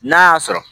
N'a y'a sɔrɔ